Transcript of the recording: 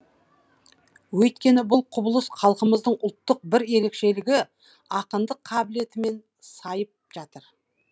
өйткені бұл құбылыс халқымыздың ұлттық бір ерекшелігі ақындық қабілетімен сайып жатыр